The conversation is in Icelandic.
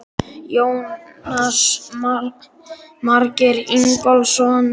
Jónas Margeir Ingólfsson: Var þetta mikið áfall?